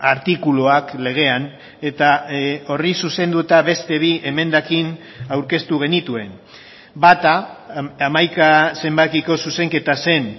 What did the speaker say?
artikuluak legean eta horri zuzenduta beste bi emendakin aurkeztu genituen bata hamaika zenbakiko zuzenketa zen